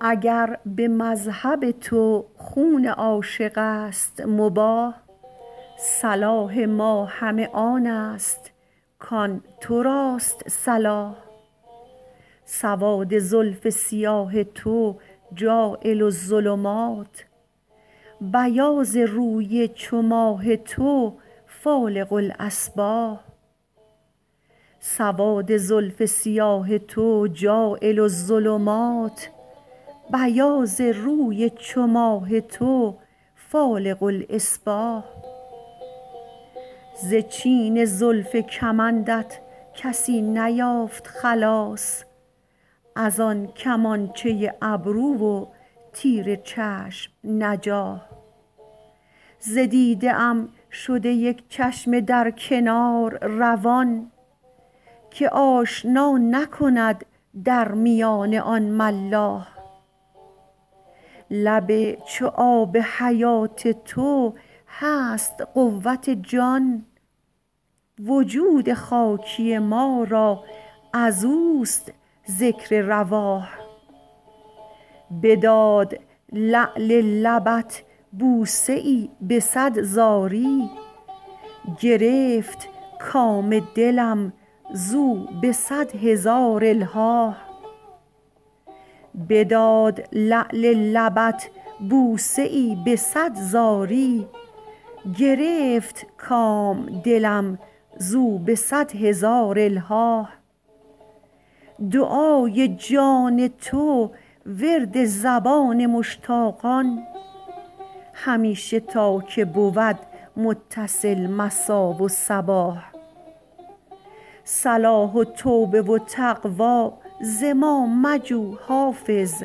اگر به مذهب تو خون عاشق است مباح صلاح ما همه آن است کآن تو راست صلاح سواد زلف سیاه تو جاعل الظلمات بیاض روی چو ماه تو فالق الأصباح ز چین زلف کمندت کسی نیافت خلاص از آن کمانچه ابرو و تیر چشم نجاح ز دیده ام شده یک چشمه در کنار روان که آشنا نکند در میان آن ملاح لب چو آب حیات تو هست قوت جان وجود خاکی ما را از اوست ذکر رواح بداد لعل لبت بوسه ای به صد زاری گرفت کام دلم زو به صد هزار الحاح دعای جان تو ورد زبان مشتاقان همیشه تا که بود متصل مسا و صباح صلاح و توبه و تقوی ز ما مجو حافظ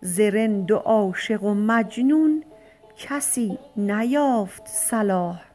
ز رند و عاشق و مجنون کسی نیافت صلاح